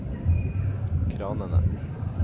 kranene